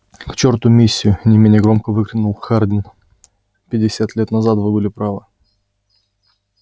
к черту миссию не менее громко выкрикнул хардин пятьдесят лет назад вы были правы